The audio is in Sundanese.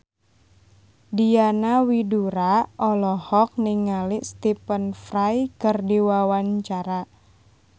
Diana Widoera olohok ningali Stephen Fry keur diwawancara